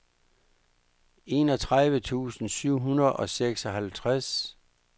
enogtredive tusind syv hundrede og seksoghalvtreds